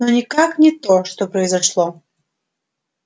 но никак не то что произошло